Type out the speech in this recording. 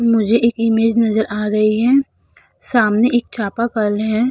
मुझे एक इमेज नजर आ रही है सामने एक चापाकल है।